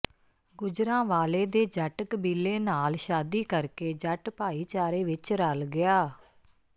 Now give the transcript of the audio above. ਗੁਜਰਾਂਵਾਲੇ ਦੇ ਜੱਟ ਕਬੀਲੇ ਨਾਲ ਸ਼ਾਦੀ ਕਰਕੇ ਜੱਟ ਭਾਈਚਾਰੇ ਵਿੱਚ ਰਲ ਗਿਆ